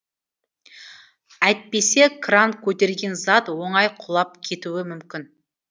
әйтпесе кран көтерген зат оңай құлап кетуі мүмкін